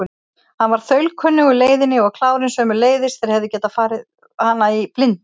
Hann var þaulkunnugur leiðinni og klárinn sömuleiðis, þeir hefðu getað farið hana í blindni.